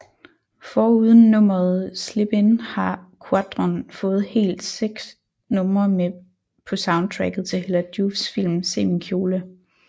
Foruden nummeret Slippin har Quadron fået hele seks numre med på soundtracket til Hella Joofs film Se min kjole